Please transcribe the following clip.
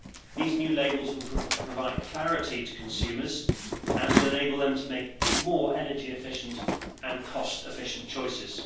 These new labels will prove provide clarity to consumers and will enable them to make more energy efficient and cost efficient choices.